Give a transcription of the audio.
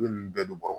Ne ni bɛɛ bɔrɔ